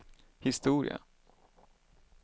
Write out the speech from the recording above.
historia